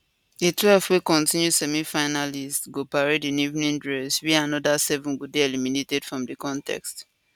di twelve wey continue semifinalists go parade in evening dress wia anoda seven go dey eliminated from di contest